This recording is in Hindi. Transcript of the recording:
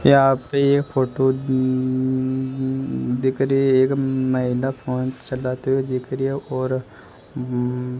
यहां पे फोटो म्म्म्म दिख रई है उम्म एक महिला फोन चलाती हुई दिख री है और उंम्म्म --